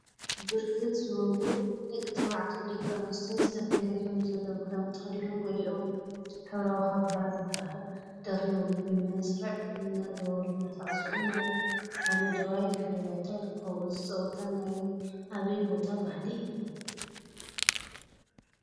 ብርክት ዝበሉ ደቂ ተባዕትዮ ደቂ አንስትዮን ዝተፈላለየ ሕብሪ ዘለዎም ክዳውንቲ ተከዲኖም ገሊኦም ሕብራዊ ካባ ዝበሃል ደሪቦም ብመስርዕ እናዘወሩን እናሳዕስዑን አብ ሓመደዋይ ድሕረ ባይታ ይርከቡ፡፡ እዚ ፀወታ ናይ አበይ ቦታ ባህሊ እዩ?